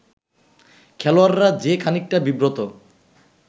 খেলোয়াড়রা যে খানিকটা বিব্রত